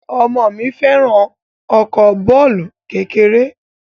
Ọmọ mi fẹ́ràn ọkọ bàálù kékeré